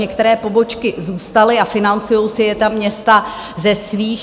Některé pobočky zůstaly a financují si je ta města ze svých.